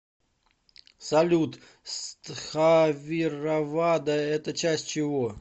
салют стхавиравада это часть чего